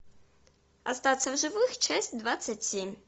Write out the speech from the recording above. остаться в живых часть двадцать семь